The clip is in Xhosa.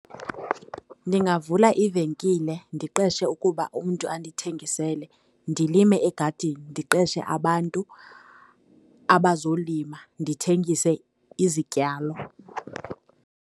Ndingavula ivenkile ndiqeshe ukuba umntu andithengisele, ndilime egadini ndiqeshe abantu abazolima, ndithengise izityalo.